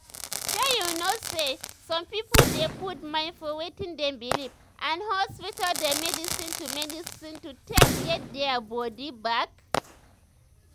shey you know um say um some pipo dey put mind for wetin dem believe and hospital dem medicine to medicine to take get their bodi bak. um